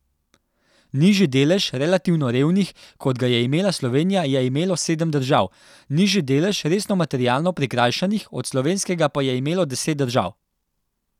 Nižji delež relativno revnih, kot ga je imela Slovenija, je imelo sedem držav, nižji delež resno materialno prikrajšanih od slovenskega pa je imelo deset držav.